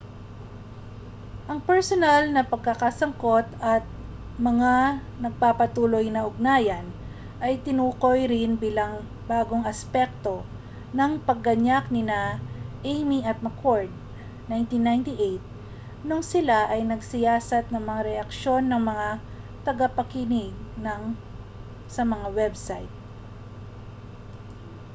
"ang personal na pagkakasangkot at mga nagpapatuloy na ugnayan ay tinukoy rin bilang mga bagong aspekto ng pagganyak nina eighmey at mccord 1998 noong sila ay nagsiyasat ng mga reaksyon ng mga tagapagkinig sa mga website